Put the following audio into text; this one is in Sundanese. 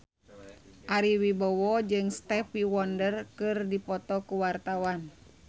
Ari Wibowo jeung Stevie Wonder keur dipoto ku wartawan